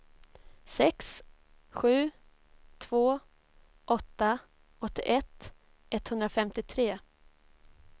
sex sju två åtta åttioett etthundrafemtiotre